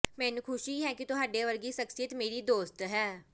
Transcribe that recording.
ਮੈਨੂੰ ਖੁਸ਼ੀ ਹੈ ਕਿ ਤੁਹਾਡੇ ਵਰਗੀ ਸ਼ਖਸੀਅਤ ਮੇਰੀ ਦੋਸਤ ਹੈ